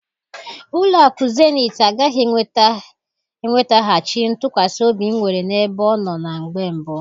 Ụlọ akụ Zenetị agaghị enwetaghachi ntụkwasị obi m nwere na-ebe ọnọ na mgbe mbụ.